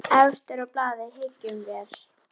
Efstur á blaði, hyggjum vér.